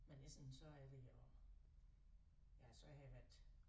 Men essen så er det at ja så har jeg været